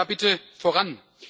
Kommen wir da bitte voran!